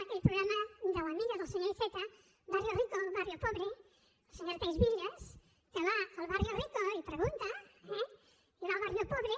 aquell programa de l’amiga del senyor iceta barrio rico barrio pobre la senyora thais villas que va al barrio ricoeh i va al barrio pobre